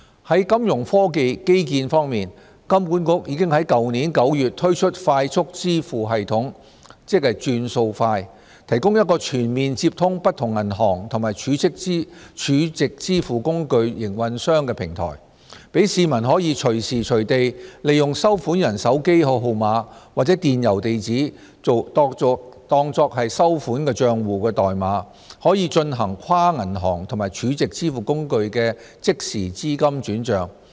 在金融科技基建方面，香港金融管理局已在去年9月推出快速支付系統"轉數快"，提供一個全面接通不同銀行及儲值支付工具營運商的平台，讓市民可以隨時隨地利用收款人手機號碼或電郵地址作收款帳戶代碼進行跨銀行及儲值支付工具的即時資金轉帳。